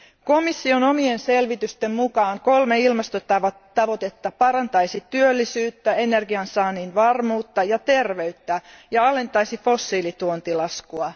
Komission omien selvitysten mukaan kolme ilmastotavoitetta parantaisi työllisyyttä, energiansaannin varmuutta ja terveyttä ja alentaisi fossiilituontilaskua.